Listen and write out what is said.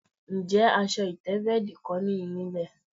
Ǹjé̩ as̩o̩ ìté̩bé̩è̩dì kó̩ nìyí nílè̩?